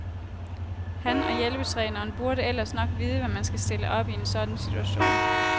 Han og hjælpetræneren burde ellers nok vide, hvad man skal stille op i en sådan situation.